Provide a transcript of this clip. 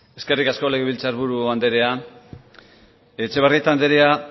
eskerrik asko legebiltzar buru andrea etxebarrieta andrea